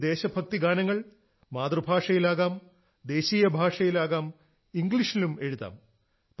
ഈ ദേശ ഭക്തിഗാനങ്ങൾ മാതൃഭാഷയിലാകാം ദേശീയ ഭാഷയിലാകാം ഇംഗ്ലീഷിലും എഴുതാം